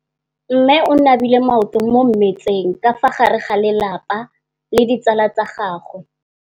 Mme o namile maoto mo mmetseng ka fa gare ga lelapa le ditsala tsa gagwe.